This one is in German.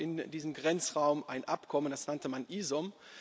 Es gab in diesem Grenzraum ein Abkommen, das nannte man IZOM.